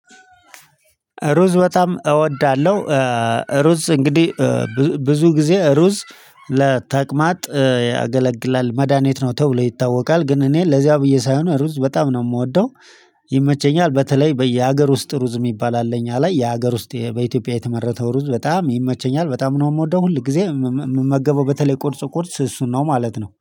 ሩዝ በጣም እወዳለሁ። ሩዝ እንግዲህ ብዙ ጊዜ ሩዝ ለተቅማጥ ያገለግላል ነው ተብሎ ይታወቃል ግን እኔ ለዚያ ብዬ ሳይሆን ሩዝ በጣም ነው የምወደው። ይመቸኛል በተለይ በየሀገር ውስጥ ሩዝ የሚባል አለኝ እኛ ላይ የሀገር ውስጥ በኢትዮጵያ የተመረተው ሩዝ በጣም ይመቸኛል በጣም ነው የምወደው። ሁል ጊዜ የምመገበው በተለይ ቁርስ ቁርስ እሱን ነው ማለት ነው